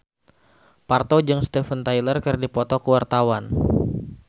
Parto jeung Steven Tyler keur dipoto ku wartawan